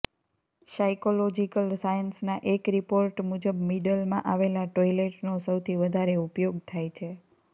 psychological સાયન્સના એક report મુજબ મિડલમાં આવેલા ટોઇલેટનો સૌથી વધારે ઉપયોગ થાય છે